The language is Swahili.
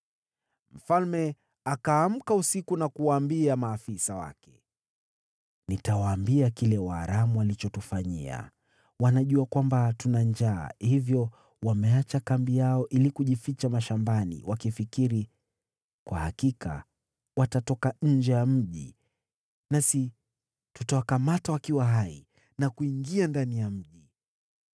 Mfalme akaamka usiku na kuwaambia maafisa wake, “Nitawaambia kile Waaramu walichotufanyia. Wanajua kwamba tuna njaa, hivyo wameacha kambi yao ili kujificha mashambani, wakifikiri, ‘Kwa hakika watatoka nje ya mji, nasi tutawakamata wakiwa hai na kuingia ndani ya mji.’ ”